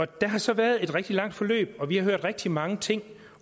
der har så været et rigtig langt forløb og vi har hørt rigtig mange ting